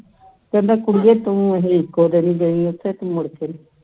ਕਹਿੰਦਾ ਤੂੰ ਕੁੜੀਏ ਇਕੋ ਦਿਨ ਗਈ ਉੱਥੇ ਮੁੜਕੇ ਨਹੀਂ ਗਈ